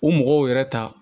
U mɔgɔw yɛrɛ ta